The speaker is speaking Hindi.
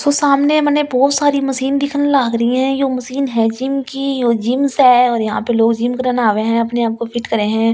तो सामने मैंने बहुत सारी मशीन दिखन लग रही है जो मशीन है जिम की जिम से और यहां पर लोग जिम करने आवे है अपने आप को फिट करें हैं ।